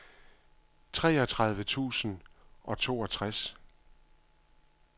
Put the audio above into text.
treogtredive tusind og toogtres